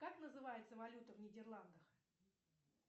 как называется валюта в нидерландах